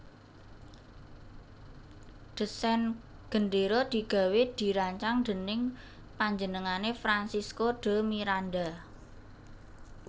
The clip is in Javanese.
Desain gendéra digawé dirancang dèning panjenengané Francisco de Miranda